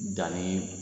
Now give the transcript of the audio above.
Danni